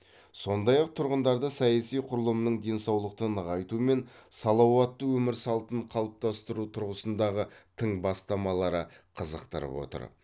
сондай ақ тұрғындарды саяси құрылымның денсаулықты нығайту мен салауатты өмір слатын қалыптастыру тұрғысындағы тың бастамалары қызықтырып отыр